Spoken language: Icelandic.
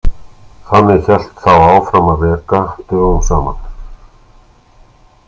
Þannig hélt þá áfram að reka dögum saman.